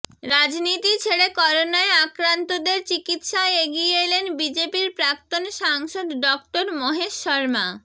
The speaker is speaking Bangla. রাজনীতি ছেড়ে করোনায় আক্রান্তদের চিকিৎসায় এগিয়ে এলেন বিজেপির প্রাক্তন সাংসদ ডঃ মহেশ শর্মা